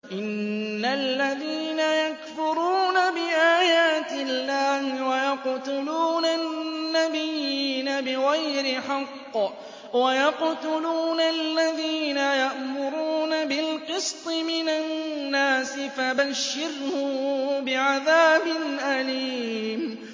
إِنَّ الَّذِينَ يَكْفُرُونَ بِآيَاتِ اللَّهِ وَيَقْتُلُونَ النَّبِيِّينَ بِغَيْرِ حَقٍّ وَيَقْتُلُونَ الَّذِينَ يَأْمُرُونَ بِالْقِسْطِ مِنَ النَّاسِ فَبَشِّرْهُم بِعَذَابٍ أَلِيمٍ